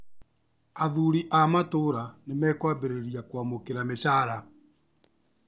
Athuri a matũra nĩmekwambĩrĩria kwamũkĩra mĩcara